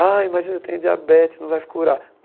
Ai, mas eu tenho diabetes, não vai curar.